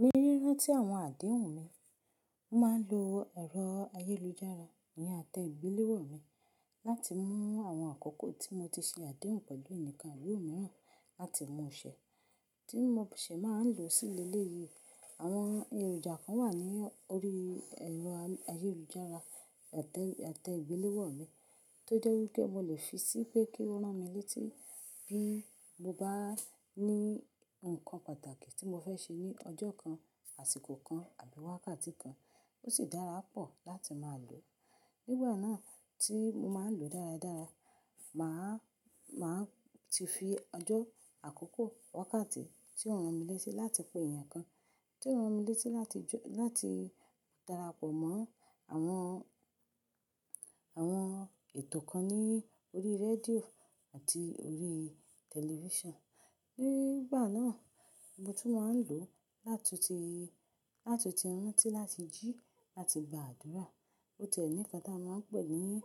Ní rírán tí àwọn àdéhùn mi, mo máa ń lo ẹ̀rọ ayélujára íyen àtẹ ìgbéléwọ̀ mi láti mú àwọn àkókò tí mo ti ṣo àdéhùn pẹ̀lú ẹnìkan abi imíràn láti mú ṣẹ̀, tí mo sì máa ń lò ó sílé ilé yìí. Àwọn èròjà kan wà ní orí ẹ̀rọ ayélujára àtẹ ìgbéléwọ̀ mi tó jẹ́ wípé mo lè fi sí pé kí ó rán mi létí bí mo bá ní ǹnkan pàtàkì tí mo fẹ́ ṣe ní ọjọ́ kan, àsìkò kan àbí wákàtí kan. Ó sì dára pọ̀ láti máa lò ó. Nígbà náà tí mo máa ń lò ó dáradára, màá, màá ti fi ọjọ́ àkókò wákàtí tí ó rán mi létí láti pé èèyàn kan, tí ó rán mi létí láti jó-- láti darapọ̀ mọ́ àwọn, àwọn ètò kan ní orí rédíò àti orí tẹlifíṣàn. Nígbà náà mo tún máa ń lò ó látu ti, látu ti rántí láti jí láti gba àdúrà. Ó tiẹ̀ ní nnkan tá a máa ń pè é ní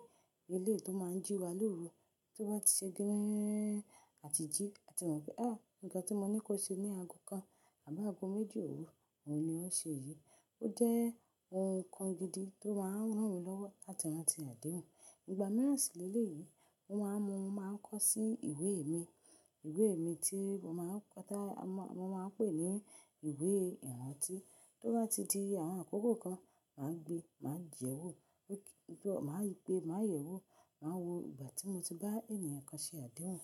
eleyii tó máa ń jí wa lóru tó bá ti ṣe gírẹ́ẹ́n àti jí. A ti mọ̀ pé, ẹ́! Ǹnkan tí mo ní kó ṣe ní ago kan àbí ago méjì òru, òun ni ó ń ṣe èyí. Ó jẹ́ ohun kan gidi tó máa ń rán mi lọ́wọ́ láti rántí àdéhùn. Ìgbà mìíràn sìlé ilé yìí, mo máa ń mu, mo máa ń kọ sí ìwé mi. Ìwé mi tí mo máa ń kọ tá-- mo máa ń pè é ní ìwé ìrántí tó bá ti di àwọn àkókò kan, màá gbe, màá jẹ́wó. Mo kí-- mo máa yí pé, màá yẹ̀wò, màá wo ìgbà tí mo ti bá ènìyàn kan ṣe àdéhùn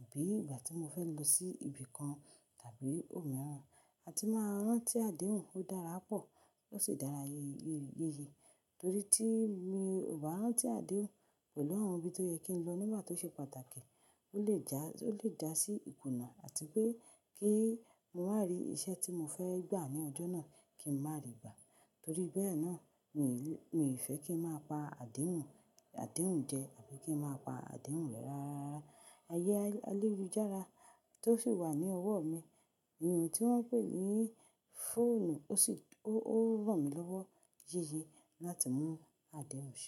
àbí ìgbà tí mo fẹ́ lọ sí ibì kan tàbí ohùn mìíràn. A ti máa ń rántí àdéhùn, ó dára pọ̀. Ó sì dára yéyé yìí torí tí mi ò bá rántí àdéhùn pẹ̀lú àwọn ibi tó yẹ kí n lọ nígbà tó ṣe pàtàkì, ó lè já, ó lè jásí ìkùnà àti pé kí mo wá rí iṣẹ́ tí mo fẹ́ gbà ní ọjọ́ náà kí n má rí i gbà. Torí bẹ́ẹ̀ náà mi ò lè, mi ò fẹ́ kí n máa pa àdéhùn, àdéhùn jẹ àbí kí n máa pa àdéhùn rẹ́ rárá. Ayé ayélujára tó sì wà ní ọwọ́ mi, èyí tí wọ́n ń pè ní fóònù ó sì, ó, ó rán mi lọ́wọ́ yeye láti mú àdéhùn se.